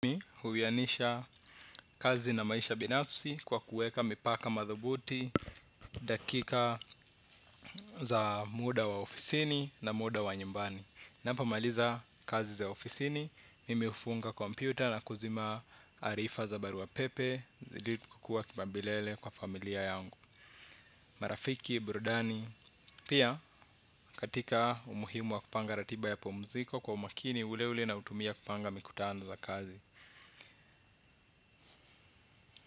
Huwianisha kazi na maisha binafsi kwa kueka mipaka madhubuti dakika za muda wa ofisini na muda wa nyumbani napo maliza kazi za ofisini, mimi hufunga kompyuta na kuzima arifa za barua wa pepe ili kukua kipaumbilele kwa familia yangu. Marafiki, burudani, pia katika umuhimu wa kupanga ratiba ya pumziko kwa umakini ule ule na utumia kupanga mikutano za kazi.